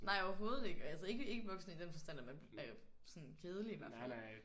Nej overhovedet ikke. Altså ikke ikke voksen i den forstand at man er sådan kedelig i hvert fald